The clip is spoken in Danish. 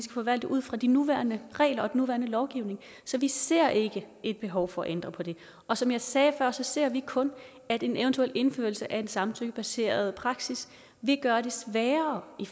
forvalte ud fra de nuværende regler og nuværende lovgivning så vi ser ikke et behov for at ændre på det og som jeg sagde før ser vi kun at en eventuel indførelse af en samtykkebaseret praksis vil gøre det sværere i